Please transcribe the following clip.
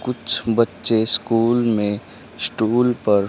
कुछ बच्चे स्कूल में स्टूल पर--